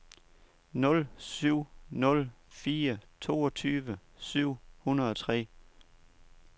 nul syv nul fire toogtyve syv hundrede og tre